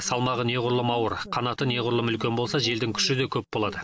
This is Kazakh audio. салмағы неғұрлым ауыр қанаты неғұрлым үлкен болса желдің күші де көп болады